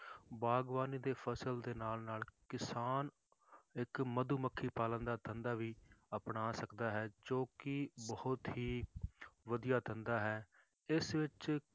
ਬਾਗ਼ਬਾਨੀ ਦੀ ਫਸਲ ਦੇ ਨਾਲ ਨਾਲ ਕਿਸਾਨ ਇੱਕ ਮਧੂਮੱਖੀ ਪਾਲਣ ਦਾ ਧੰਦਾ ਵੀ ਅਪਣਾ ਸਕਦਾ ਹੈ ਜੋ ਕਿ ਬਹੁਤ ਹੀ ਵਧੀਆ ਧੰਦਾ ਹੈ ਇਸ ਵਿੱਚ